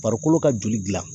Farikolo ka joli dilan.